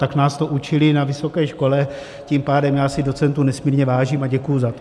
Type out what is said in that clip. Tak nás to učili na vysoké škole, tím pádem já si docentů nesmírně vážím a děkuji za to.